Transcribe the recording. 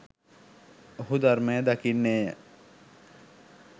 ඔහු ධර්මය දකින්නේ ය.